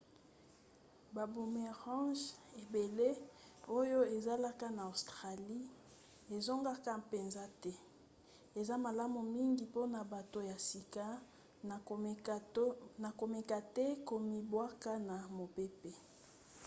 baboomerangs ebele oyo ezalaka na australie ezongaka mpenza te. eza malamu mingi mpona bato ya sika na komeka te komibwaka na mopepe